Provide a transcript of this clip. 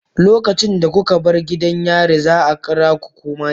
Lokacin da kuka bar gidan yarin, za a kira ku mai laifi.